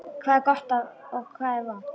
Hvað er gott og hvað er vont.